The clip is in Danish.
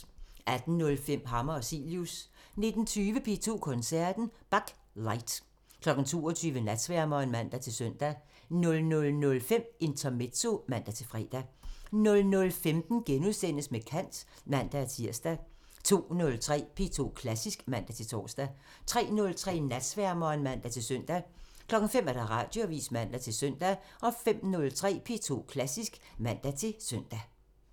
18:05: Hammer og Cilius 19:20: P2 Koncerten – Bach: Light 22:00: Natsværmeren (man-søn) 00:05: Intermezzo (man-fre) 00:15: Med kant *(man-tir) 02:03: P2 Klassisk (man-tor) 03:03: Natsværmeren (man-søn) 05:00: Radioavisen (man-søn) 05:03: P2 Klassisk (man-søn)